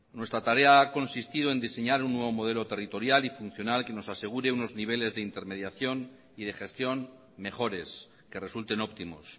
nuestra tarea ha consistido en diseñar un nuevo modelo territorial y funcional que nos asegure unos niveles de intermediación y de gestión mejores que resulten óptimos